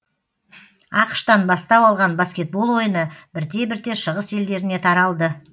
ақш тан бастау алған баскетбол ойыны бірте бірте шығыс елдеріне таралды